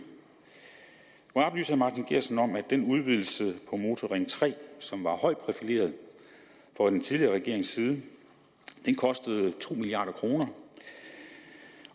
må jeg oplyse herre martin geertsen om at den udvidelse af motorring tre som var højt profileret fra den tidligere regerings side kostede to milliard kroner